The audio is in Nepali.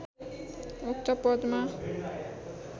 उक्त पदमा